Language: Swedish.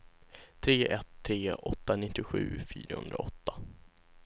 tre ett tre åtta nittiosju fyrahundraåtta